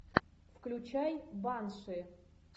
включай банши